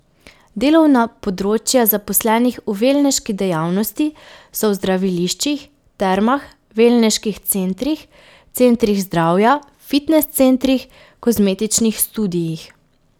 Delovna področja zaposlenih v velneški dejavnosti so v zdraviliščih, termah, velneških centrih, centrih zdravja, fitnes centrih, kozmetičnih studiih.